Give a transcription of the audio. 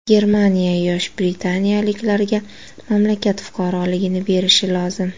Germaniya yosh britaniyaliklarga mamlakat fuqaroligini berishi lozim.